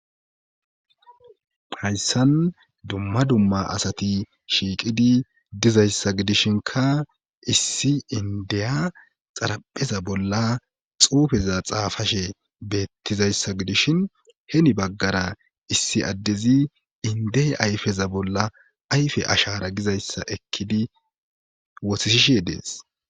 hayssan dumma dumma asati shiiqidi dizayssa gidishinka issi indeya xarapheza bolla xuufeza xaafashe beettizayssa gidishin heni baggara issi addezi indey ayfeza bolla ayfe ashara gizayssa ekkidi wotisishe dees